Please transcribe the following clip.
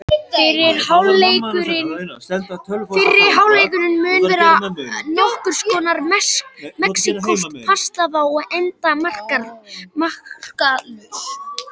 Fyrri hálfleikurinn mun vera nokkurs konar mexíkósk pattstaða og enda markalaus.